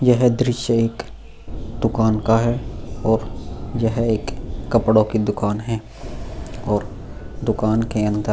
यह दृश्य एक दुकान का है और यह एक कपड़ों की दुकान है और दुकान के अंद --